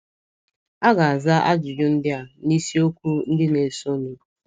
A ga - aza ajụjụ ndị a n’isiokwu ndị na - esonụ.